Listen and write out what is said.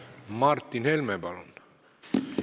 Martin Helme, palun!